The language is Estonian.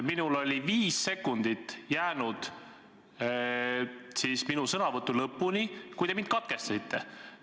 Minul oli oma sõnavõtu lõpuni jäänud viis sekundit, kui te mind katkestasite.